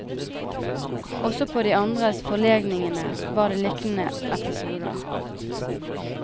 Også på de andre forlegningene var det liknende episoder.